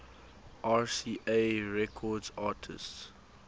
rca records artists